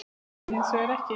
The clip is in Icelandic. Það dugði hins vegar ekki.